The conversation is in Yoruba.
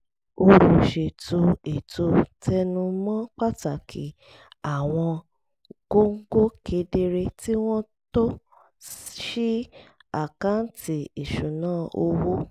olùṣètò ètò tẹnu mọ́ pàtàkì àwọn góńgó kedere kí wọ́n tó ṣí àkáǹtì ìṣúnná owó